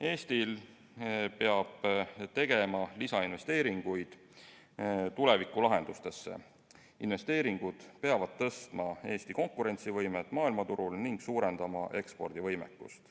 Eesti peab tegema lisainvesteeringuid tulevikulahendustesse, investeeringud peavad parandama Eesti konkurentsivõimet maailmaturul ning suurendama ekspordivõimekust.